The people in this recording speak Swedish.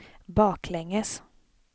baklänges